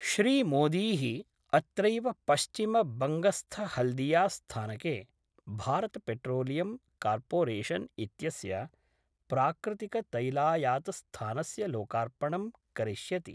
श्रीमोदीः अत्रैव पश्चिम बंगस्थहल्दिया स्थानके भारतपेट्रोलियम् कार्पोरेशन् इत्यस्य प्राकृतिकतैलायातस्थानस्य लोकार्पणं करिष्यति।